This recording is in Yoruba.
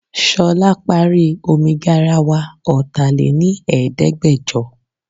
Ṣolá parí omi garawa ọta lé ní Ẹ̀ẹ́dẹ́gbẹjọ